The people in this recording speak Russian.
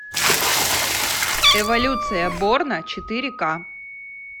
эволюция борна четыре к